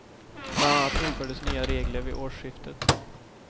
Bland annat infördes nya regler vid årsskiftet.